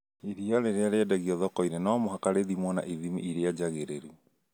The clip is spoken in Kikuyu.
Iria rĩrĩa rĩendagio thoko-inĩ no mũhaka rĩthimwo na ithimi iria njagĩrĩru